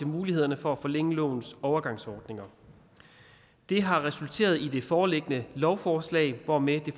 mulighederne for at forlænge lovens overgangsordninger det har resulteret i det foreliggende lovforslag hvormed det